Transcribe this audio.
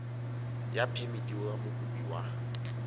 ya phemiti ya mokopi wa